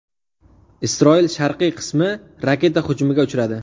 Isroil sharqiy qismi raketa hujumiga uchradi.